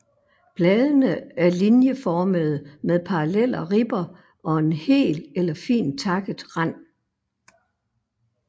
Bladene er linjeformede med parallelle ribber og hel eller fint takket rand